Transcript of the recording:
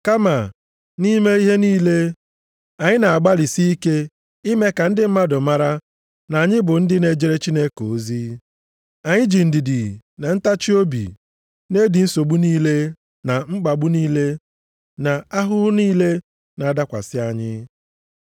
Kama nʼime ihe niile, anyị na-agbalịsị ike ime ka ndị mmadụ mara na anyị bụ ndị na-ejere Chineke ozi. Anyị ji ndidi na ntachiobi na-edi nsogbu niile na mkpagbu niile na ahụhụ niile na-adakwasị anyị.